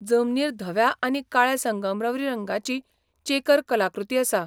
जमनीर धव्या आनी काळ्या संगमरवरी रंगाची चेकर कलाकृती आसा.